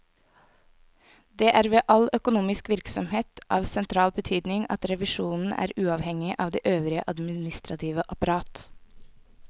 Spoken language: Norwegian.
Det er ved all økonomisk virksomhet av sentral betydning at revisjonen er uavhengig av det øvrige administrative apparat.